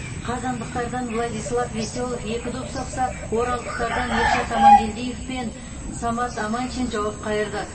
қазандықтардан владислав веселов екі доп соқса оралдықтардан ершат амангелдиев пен самат аманшин жауап қайырды